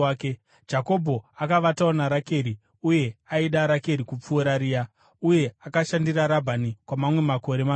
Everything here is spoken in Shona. Jakobho akavatawo naRakeri uye aida Rakeri kupfuura Rea. Uye akashandira Rabhani kwamamwe makore manomwe.